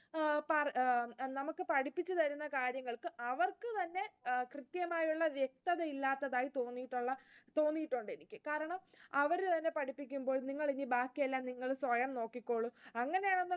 ഏർ നമുക്ക് പഠിപ്പിച്ചു തരുന്ന കാര്യങ്ങൾക്ക് അവർക്ക് തന്നെ കൃത്യമായൊരു വ്യക്തത ഇല്ലാത്തതായി തോന്നിയിട്ടുണ്ട് എനിക്ക്, കാരണം അവർ തന്നെ പഠിപ്പിക്കുമ്പോൾ പിന്നെ നിങ്ങൾ ഇനി ബാക്കി എല്ലാം നിങ്ങൾ സ്വയം നോക്കിക്കോളും അങ്ങനെ,